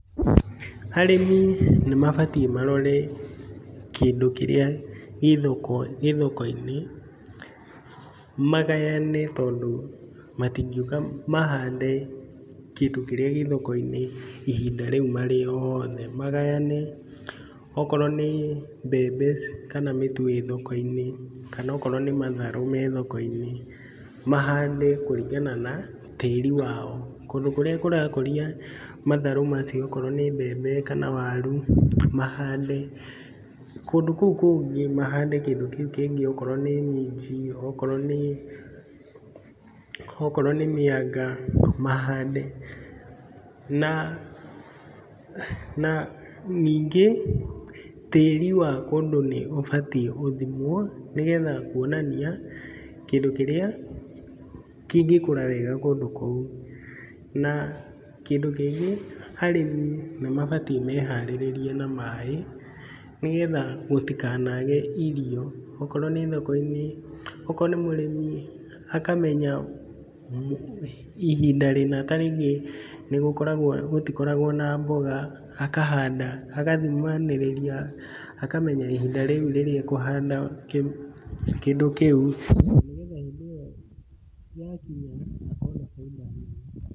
Arĩmi nĩ mabatiĩ marore kĩndũ kĩrĩa gĩ thoko-inĩ, magayane tondũ matingĩũka mahande kĩndũ kĩrĩa gĩ thoko-inĩ ihinda ríu marĩ othe. Magayane okorwo nĩ mbembe kana nĩ mĩtu ĩ thoko-inĩ kana okorwo nĩ matharũ me thoko-inĩ, mahande kũringana na tĩri wao. Kũndũ kũrĩa kũrakũria matharũ macio okorwo nĩ mbembe kana waru, mahande, kũndũ kũu kũngĩ mahande kĩndũ kĩu kĩngĩ okorwo nĩ minji, okorwo nĩ mĩanga, mahande, na na ningĩ tĩri wa kũndũ nĩ ũbatiĩ ũthimwo, nĩgetha kuonania kĩndũ kĩrĩa kĩngĩkũra wega kũndũ kũu. Na kĩndũ kĩngĩ arĩmi nĩ mabatĩĩ meharĩrĩrie na maĩ, nĩgetha gũtinage irio, okorwo nĩ thoko-inĩ, okorwo nĩ mũrĩmi, akamenya ihinda rĩna ta rĩngĩ nĩgũkoragwo, gũtikoragwo na mboga, akahanda, agathimanĩrĩria, akamenya ihinda rĩu rĩrĩa ekũhanda kĩndũ kĩu na nĩgetha hĩndĩ ĩyo yakinya, akona baiNda nene.